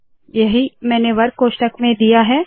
यही मैंने वर्ग कोष्ठक में दिया है